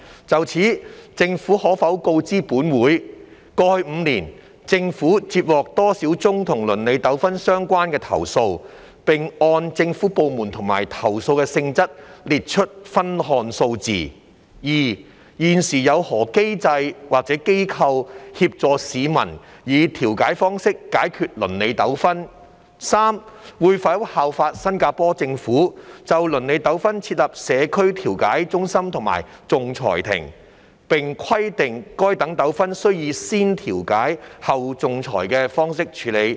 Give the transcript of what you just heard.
就此，政府可否告知本會：一過去5年，政府接獲多少宗與鄰里糾紛相關的投訴，並按政府部門和投訴的性質列出分項數字；二現時有何機構或機制，協助市民以調解方式解決鄰里糾紛；及三會否效法新加坡政府，就鄰里糾紛設立社區調解中心和仲裁庭，並規定該等糾紛須以"先調解，後仲裁"的方式處理？